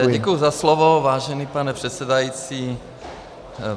Takže děkuji za slovo, vážený pane předsedající.